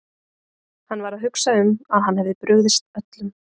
Hann var að hugsa um að hann hefði brugðist öllum.